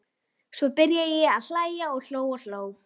Svo byrjaði ég að hlæja og hló og hló.